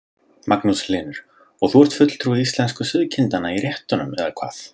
Magnús Hlynur: Og þú ert fulltrúi íslensku sauðkindanna í réttunum eða hvað?